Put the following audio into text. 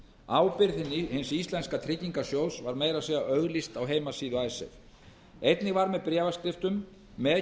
ábyrgð hins íslenska tryggingarsjóðs var meira segja auglýst á heimasíðu einnig var með bréfaskriftum með